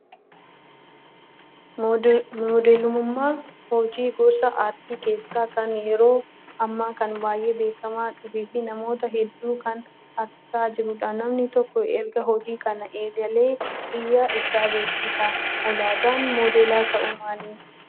Modeelummaan hojii gosa aartii keessaa kan yeroo ammaa kana baay'ee beekamaa dhufee fi namoota hedduu kan harkisaa jirudha. Namni tokko erga hojii kana eegalee biyya isaa beeksisa. Ulaagaan moodela ta'uu maali?